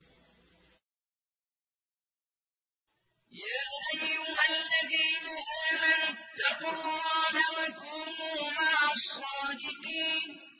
يَا أَيُّهَا الَّذِينَ آمَنُوا اتَّقُوا اللَّهَ وَكُونُوا مَعَ الصَّادِقِينَ